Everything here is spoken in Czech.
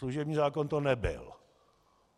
Služební zákon to nebyl.